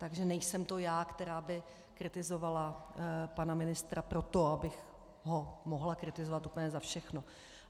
Takže nejsem to já, která by kritizovala pana ministra proto, abych ho mohla kritizovat úplně za všechno.